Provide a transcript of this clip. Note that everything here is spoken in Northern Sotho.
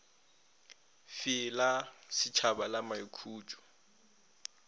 fe la šetšhaba la maikhutšo